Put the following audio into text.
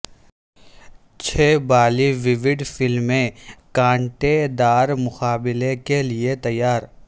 چھ Bollywood فلمیں کانٹے دار مقابلے کے لئے تیار